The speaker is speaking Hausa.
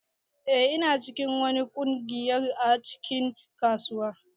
Eh ina cikin wani kungiyar a cikin kasuwa.